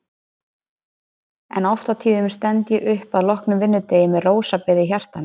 En oft á tíðum stend ég upp að loknum vinnudegi með rósabeð í hjartanu.